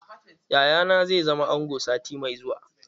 Yaya na zai zama ango sati mai zuwa.